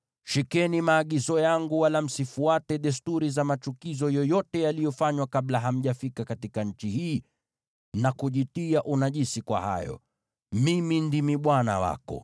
Shikeni maagizo yangu, wala msifuate desturi za machukizo yoyote yaliyofanywa kabla hamjafika katika nchi hii, na kujitia unajisi kwa hayo. Mimi ndimi Bwana Mungu wako.’ ”